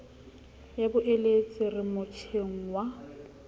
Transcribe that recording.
ya boeletsi re motjheng wa